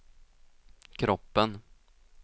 kroppen